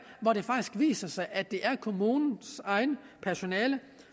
hvor det faktisk viser sig at det er kommunens eget personale